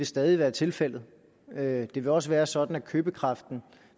stadig være tilfældet at de vil også være sådan at købekraften